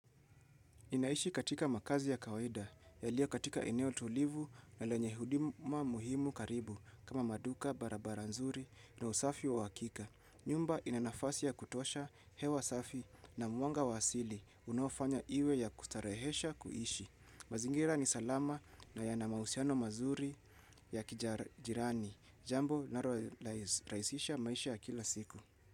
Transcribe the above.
Ninaishi katika makazi ya kawaida, yalioa katika eneo tulivu na lenye huduma muhimu karibu kama maduka, barabara nzuri, na usafi wa hakika. Nyumba inanafasi ya kutosha hewa safi na mwanga wa asili unofanya iwe ya kustarehesha kuishi. Mazingira ni salama na yana mahusiano mazuri ya kijirani. Jambo linalo rahisisha maisha ya kila siku.